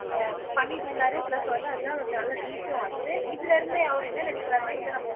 ஆஹ் பண்ணிட்டு இருந்தாரு ப்ளஸ் வந்து அதுதான் ஒரு நல்ல ரீச்சும் ஆச்சு இதுல இருந்தே அவரு என்ன நினைக்கிறாருன்னா இல்லை நம்ம ஒரு